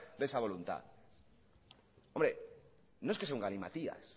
de esa voluntad hombre no es que sea un galimatías